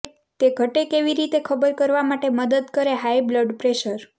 તે ઘટે કેવી રીતે ખબર કરવા માટે મદદ કરે હાઈ બ્લડ પ્રેશર